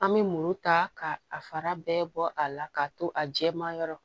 An bɛ muru ta k'a fara bɛɛ bɔ a la k'a to a jɛma yɔrɔ